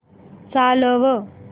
चालव